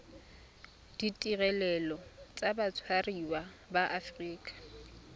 ditirelo tsa batshwariwa ba aforika